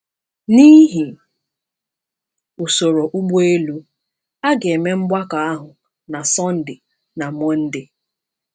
N’ihi usoro ụgbọelu, a ga-eme mgbakọ ahụ na Sọnde na Mọnde.